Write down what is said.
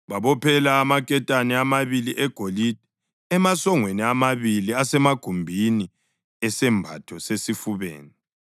Babophela amaketane amabili egolide emasongweni amabili asemagumbini esembatho sesifubeni,